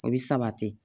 O bɛ sabati